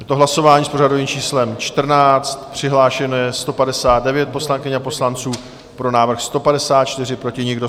Je to hlasování s pořadovým číslem 14, přihlášeno je 159 poslankyň a poslanců, pro návrh 154, proti nikdo.